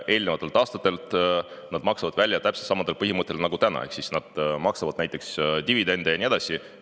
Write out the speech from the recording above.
Eelnevate aastate jaotamata kasumit maksavad nad välja täpselt samadel põhimõtetel nagu täna ehk nad maksavad näiteks dividende ja nii edasi.